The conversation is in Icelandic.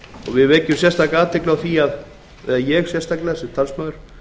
við vekjum sérstaka athygli á því eða ég sérstaklega sem talsmaður